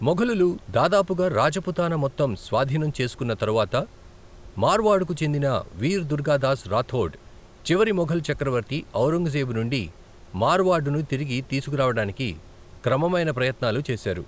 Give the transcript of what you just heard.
మొఘలులు దాదాపుగా రాజపుతానా మొత్తం స్వాధీనం చేసుకున్న తరువాత, మార్వాడుకు చెందిన వీర్ దుర్గాదాస్ రాథోడ్ చివరి మొఘల్ చక్రవర్తి ఔరంగజేబు నుండి మార్వాడ్ను తిరిగి తీసుకురావడానికి క్రమమైన ప్రయత్నాలు చేశారు.